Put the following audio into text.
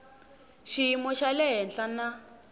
xiyimo xa le henhla na